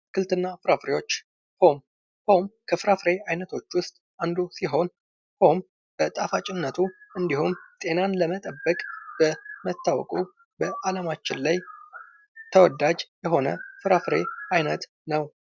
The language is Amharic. አትክልት እና ፍራፍሬዎች ። ፖም ፡ ፖም ከፍራፍሬ አይነቶች ውስጥ አንዱ ሲሆን ፖም በጣፋጭነቱ እንዲሁም ጤናን ለመጠበቅ በመታወቁ በአለማችን ላይ ተወዳጅ የሆነ ፍራፍሬ አይነት ነው ።